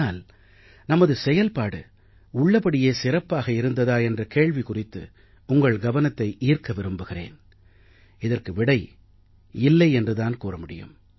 ஆனால் நமது செயல்பாடு உள்ளபடியே சிறப்பாக இருந்ததா என்ற கேள்வி குறித்து உங்கள் கவனத்தை ஈர்க்க விரும்புகிறேன் இதற்கு விடை இல்லை என்று தான் கூற முடியும்